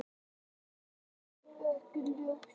Uppruninn er ekki ljós.